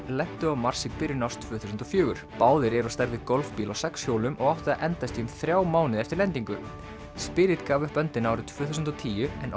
lentu á Mars í byrjun árs tvö þúsund og fjögur báðir eru á stærð við golfbíl á sex hjólum og áttu að endast í um þrjá mánuði eftir lendingu gaf upp öndina árið tvö þúsund og tíu en